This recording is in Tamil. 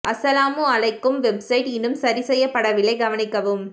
அஸ்ஸலாமு அழைக்கும் வெப்சைட் இன்னும் சரி செய்ய பட வில்லை கவனிக்கவும்